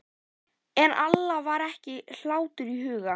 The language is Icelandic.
En Alla var ekki hlátur í huga.